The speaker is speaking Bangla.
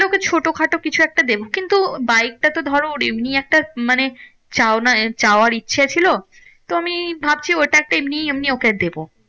ওকে ছোট খাটো কিছু একটা দেব। কিন্তু বাইকটা তো ধরো ওর এমনি একটা মানে চায়না চাওয়ার ইচ্ছা ছিল। তো আমি ভাবছি ওটা একটা এমনি এমনি ওকে দেব।